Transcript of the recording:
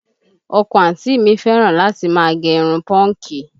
Ọkọ àǹtí mi fẹ́ràn láti máa gẹ irun pọ́ǹkì